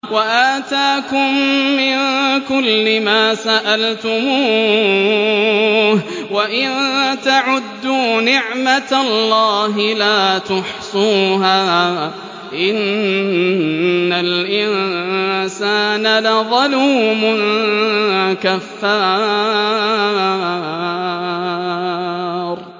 وَآتَاكُم مِّن كُلِّ مَا سَأَلْتُمُوهُ ۚ وَإِن تَعُدُّوا نِعْمَتَ اللَّهِ لَا تُحْصُوهَا ۗ إِنَّ الْإِنسَانَ لَظَلُومٌ كَفَّارٌ